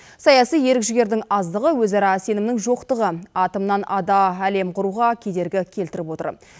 саяси ерік жігердің аздығы өзара сенімнің жоқтығы атомнан ада әлем құруға кедергі келтіріп отыр